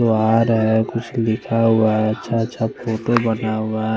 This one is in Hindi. गुआर है कुछ लिखा हुआ है छा छक्को पे बना हुआ है।